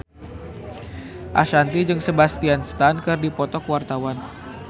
Ashanti jeung Sebastian Stan keur dipoto ku wartawan